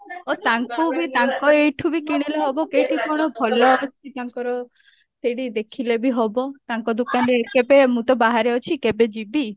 ଅ ତାଙ୍କୁ ବି ତାଙ୍କ ଏଇଠୁ ବି କିଣିଲେ ହବ କେଇଟି କଣ ଭଲ ଅଛି ତାଙ୍କର ସେଇଠି ଦେଖିଲେ ବି ହବ ତାଙ୍କ ଦୁକାନ ରେ କେବେ ମୁଁ ତ ବାହାରେ ଅଛି କେବେ ଯିବି